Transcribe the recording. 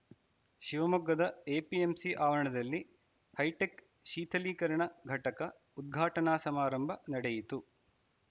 ಶಿವಮೊಗ್ಗದ ಎಪಿಎಂಸಿ ಆವರಣದಲ್ಲಿ ಹೈಟೆಕ್‌ ಶೀಥಲೀಕರಣ ಘಟಕ ಉದ್ಘಾಟನಾ ಸಮಾರಂಭ ನಡೆಯಿತು